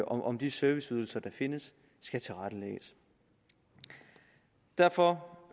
om de serviceydelser der findes skal tilrettelægges derfor